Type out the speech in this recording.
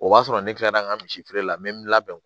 O b'a sɔrɔ ne tilala n ka misi feere la n bɛ n labɛn